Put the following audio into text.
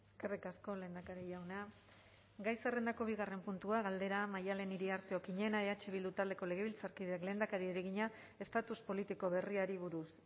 eskerrik asko lehendakari jauna gai zerrendako bigarren puntua galdera maddalen iriarte okiñena eh bildu taldeko legebiltzarkideak lehendakariari egina estatus politiko berriari buruz